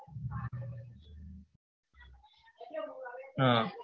હમ